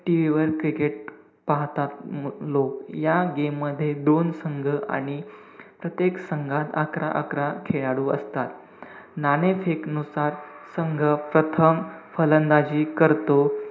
TV वर cricket पाहतात लोक. या game मध्ये दोन संघ आणि प्रत्येक संघात अकरा-अकरा खेळाडू असतात. नाणेफेक नुसार, संघ प्रथम फलंदाजी करतो.